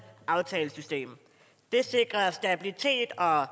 aftalesystem det sikrer stabilitet og